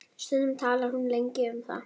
Stundum talar hún lengi um það.